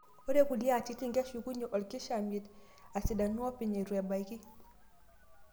Ore kulie atitin, keshukunye olkishamiet asidanu openy eitu ebaki.